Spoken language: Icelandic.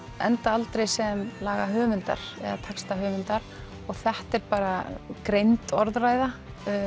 enda aldrei sem lagahöfundar eða textahöfundar og þetta er bara grimmd orðræða